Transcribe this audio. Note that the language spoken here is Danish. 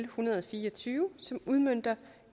så netop